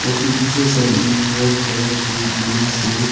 और फिर दूसरे साइड मे भी व्हाइट कलर के टीना से--